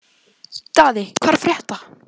Daði, hvað er að frétta?